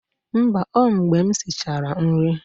Mba, ọ mgbe m sichara nri